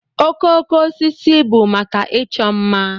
Okooko osisi bụ maka ịchọ mma.